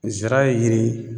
Zira ye yiri ye